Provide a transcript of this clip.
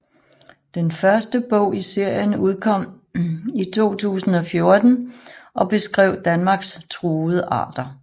Den første bog i serien udkom i 2014 og beskrev Danmarks truede arter